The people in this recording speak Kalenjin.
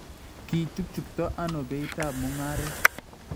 Kichuchukto ano beitab mung�aret?